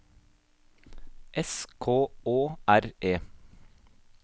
S K Å R E